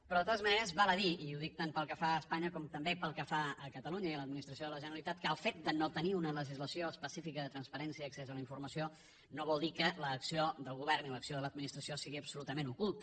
però de totes maneres val a dir i ho dic tant pel que fa a espanya com també pel que fa a catalunya i a l’administració de la generalitat que el fet de no tenir una legislació específica de transparència i accés a la informació no vol dir que l’acció del govern i l’acció de l’administració sigui absolutament oculta